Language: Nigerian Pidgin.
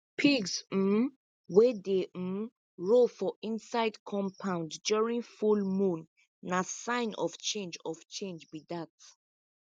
pigs um wey dey um roll for inside compound during full moon na sign of change of change be dat